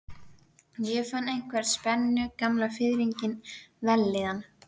Ég fann einhverja spennu, gamla fiðringinn, vellíðan.